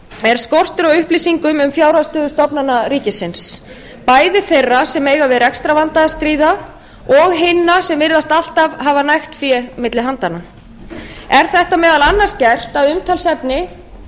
er skortur á upplýsingum um fjárhagsstöðu stofnana ríkisins bæði þeirra sem eiga við rekstrarvanda að stríða og hinna sem virðast alltaf hafa nægt fé milli handanna er þetta meðal annars gert að umtalsefni